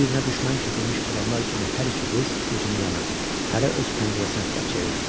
Bir-birinə düşmən kəsilmiş adamlar kimi hər iki qız üzünü yana, hərə öz pəncərəsinə tərəf çevirdi.